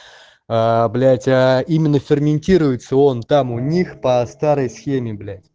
а блять а именно ферментируется он там у них по старой схеме блять